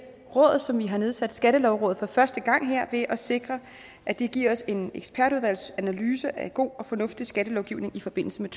råd som vi har nedsat nemlig skattelovrådet for første gang her ved at sikre at de giver os en ekspertudvalgsanalyse af god og fornuftig skattelovgivning i forbindelse med